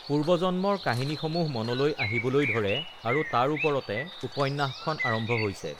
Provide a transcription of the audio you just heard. পূৰ্বজন্মৰ কাহিনীসমূহ মনলৈ আহিবলৈ ধৰে আৰু তাৰ ওপৰতে uhh উপন্যাসখন আৰম্ভ হৈছে